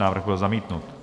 Návrh byl zamítnut.